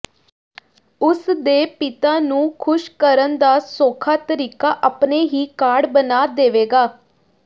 ਉਸ ਦੇ ਪਿਤਾ ਨੂੰ ਖ਼ੁਸ਼ ਕਰਨ ਦਾ ਸੌਖਾ ਤਰੀਕਾ ਆਪਣੇ ਹੀ ਕਾਰਡ ਬਣਾ ਦੇਵੇਗਾ